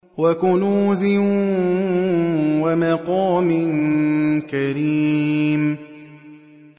وَكُنُوزٍ وَمَقَامٍ كَرِيمٍ